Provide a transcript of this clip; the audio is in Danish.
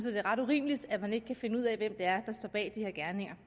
at det er ret urimeligt at man ikke kan finde ud af hvem det er der står bag de her